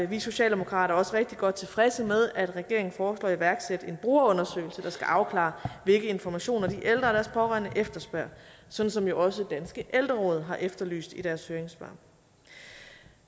vi socialdemokrater også rigtig godt tilfredse med at regeringen foreslår at iværksætte en brugerundersøgelse der skal afklare hvilke informationer de ældre og deres pårørende efterspørger sådan som jo også danske ældreråd har efterlyst i deres høringssvar